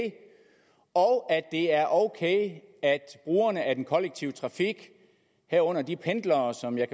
og at det er ok at brugerne af den kollektive trafik herunder de pendlere som jeg